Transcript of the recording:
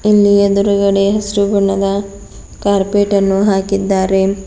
ಇಲ್ಲಿ ಎದುರುಗಡೆ ಹಸ್ರು ಬಣ್ಣದ ಕಾರ್ಪೆಟ್ ಅನ್ನು ಹಾಕಿದ್ದಾರೆ.